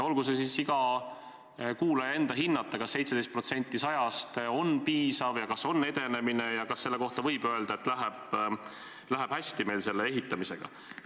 Olgu see iga kuulaja hinnata, kas 17% 100-st on piisav, kas see on edenemine ja kas võib öelda, et meil läheb selle ehitamisega hästi.